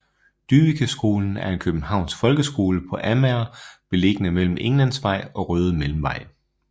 Dyvekeskolen er en københavnsk folkeskole på Amager beliggende mellem Englandsvej og Røde Mellemvej